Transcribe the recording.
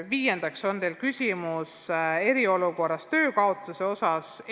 Viiendaks on teil küsimus eriolukorras töö kaotamise kohta.